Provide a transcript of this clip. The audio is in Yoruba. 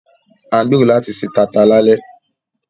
À ń gbèrò láti se taata lálẹ́